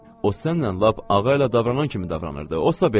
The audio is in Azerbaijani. O sənnən lap ağayla davranan kimi davranırdı, osasa belə.